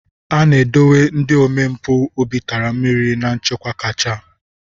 A na-edobe ndị omempụ obi tara mmiri na nchekwa kacha.